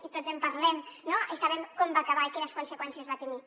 i tots en parlem i sabem com va acabar i quines conseqüències va tenir